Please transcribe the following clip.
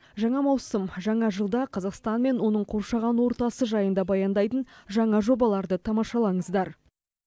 жаңа маусым жаңа жылда қазақстан мен оның қоршаған ортасы жайында баяндайтын жаңа жобаларды тамашалаңыздар